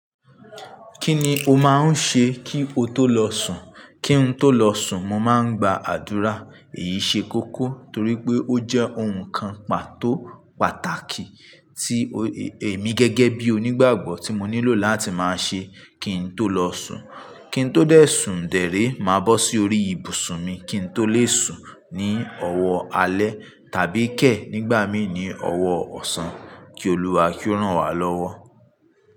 Kí ni o máa ń ṣe kí o tó lọ sùn? Kí n tó lọ sùn, mo máa ń gba àdúrà. Èyí ṣe kókó torí pé ó jẹ́ ohun kan pàtó pàtàkì tí èmi gẹ́gẹ́ bí onígbàgbọ́ tí mo nílò láti máa ṣe kí n tó lọ sùn. Kí n tó dẹ̀ sùn dèré, màá bọ́ sí orí ibùsùn mi, kí n tó lè sùn ní ọwọ́ alẹ́ tàbí kẹ̀ nígbà mí ní ọwọ́ ọ̀sán. Kí Olúwa kí ó rán wa lọ́wọ́.